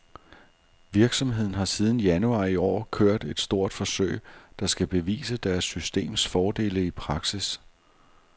Virksomheden har siden januar i år kørt et stort forsøg, der skal bevise deres systems fordele i praksis.